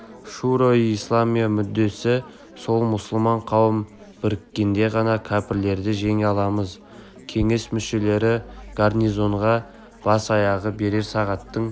шуро-и-исламия мүддесі сол мұсылман қауым біріккенде ғана кәпірлерді жеңе аламыз кеңес мүшелері гарнизонға бас-аяғы бірер сағаттың